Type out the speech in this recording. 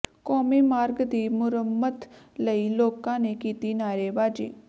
ਕੌਮੀ ਮਾਰਗ ਦੀ ਮੁਰੰਮਤ ਲਈ ਲੋਕਾਂ ਨੇ ਕੀਤੀ ਨਾਅਰੇਬਾਜ਼ੀ